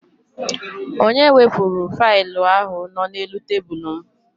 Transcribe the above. Onye wepụrụ failụ ahụ nọ n'elu tebụlụ m?